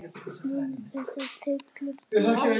Munu þessar þyrlur duga okkur?